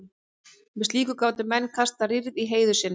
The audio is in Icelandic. með slíku gátu menn kastað rýrð á heiður sinn